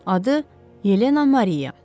Adı Yelena Mariya.